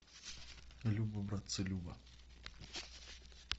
любо братцы любо